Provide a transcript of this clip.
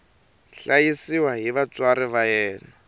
hlayisiwa hi vatswari va yena